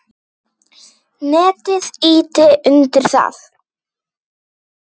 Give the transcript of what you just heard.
Netið ýti undir það.